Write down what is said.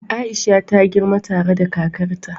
Aisha ta girma tare da kakarta.